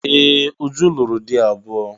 Ee! Uju lụrụ di abụọ.